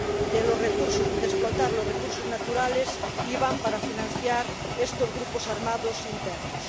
de explotar los recursos naturales iban para financiar estos grupos armados internos.